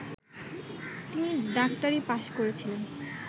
তিনি ডাক্তারি পাশ্ করেছিলেন